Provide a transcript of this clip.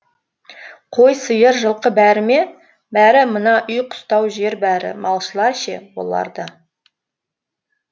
қой сиыр жылқы бәрі ме бәрі мына үй қыстау жер бәрі малшылар ше олар да